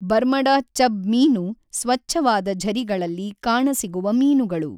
Bermuda chub ಮೀನು ಸ್ವಚ್ಛವಾದ ಝರಿಗಳಲ್ಲಿ ಕಾಣಸಿಗುವ ಮೀನುಗಳು.